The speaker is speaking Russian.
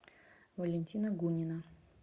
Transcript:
валентина гунина